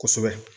Kosɛbɛ